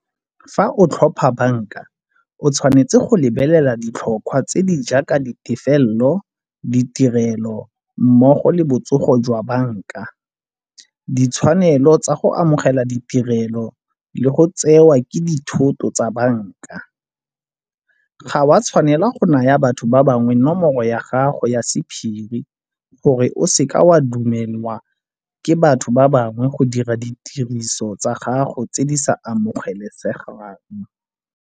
Fa o tlhopha banka o tshwanetse go lebelela ditlhotlhwa tse di jaaka ditefelelo, ditirelo mmogo le botsogo jwa banka. Ditshwanelo tsa go amogela ditirelo le go tsewa ke dithoto tsa banka. Ga o a tshwanela go naya batho ba bangwe nomoro ya gago ya sephiri gore o seke wa dumelelwa ke batho ba bangwe go dira ditiriso tsa gago tse di sa amogelesegang.